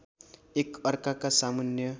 एक अर्काका सामुन्ने